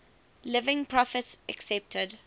living prophets accepted